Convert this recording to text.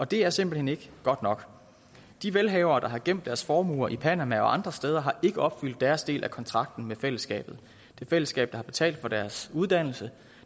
det er simpelt hen ikke godt nok de velhavere der har gemt deres formuer i panama og andre steder har ikke opfyldt deres del af kontrakten med fællesskabet et fællesskab der har betalt for deres uddannelse